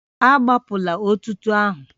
Agbapụla etuto ahụ